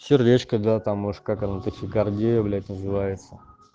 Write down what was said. сердечко да там может как оно тахикардия блять называется